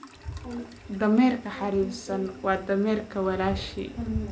Dameerka xariifsan waa dameerka walaashii